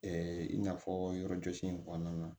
i n'a fɔ yɔrɔ jɔsi in kɔnɔna na